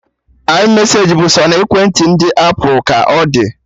iMeseji bụ sọ na ekwentị ndị apụl ka ọ dị